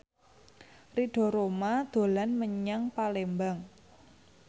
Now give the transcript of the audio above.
Ridho Roma dolan menyang Palembang